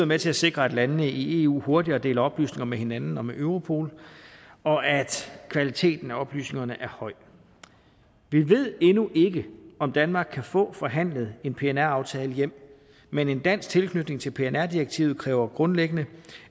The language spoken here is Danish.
med til at sikre at landene i eu hurtigere deler oplysninger med hinanden og med europol og at kvaliteten af oplysningerne er høj vi ved endnu ikke om danmark kan få forhandlet en pnr aftale hjem men en dansk tilknytning til pnr direktivet kræver grundlæggende